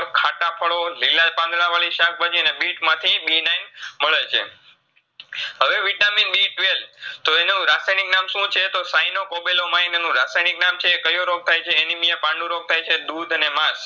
ખાટા ફળો, લીલા પાંદળા વળી શાકભાજી ને બિટમાંથી B nine મળેછે. હવે Vitamin B twelve તો એનું રાસાયનીક નામ શુંછે તો Cyanocobalamin એનું રાસાયનીક નામ છે, કયો રોગ થાયછે Anemia પાંડુરોગ થાયછે. દુદ અને માસ